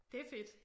Det er fedt